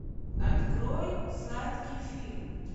открой сладкий фильм